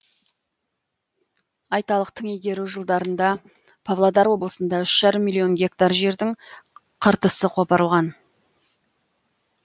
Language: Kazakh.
айталық тың игеру жылдарында павлодар облысында үш жарым миллион гектар жердің қыртысы қопарылған